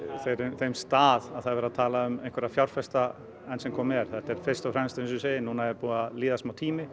þeim stað að það sé verið að tala um fjárfesta enn sem komið er þetta er fyrst og fremst eins og ég segi núna er búinn að líða smá tími